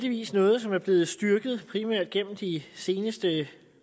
heldigvis noget som er blevet styrket primært gennem de seneste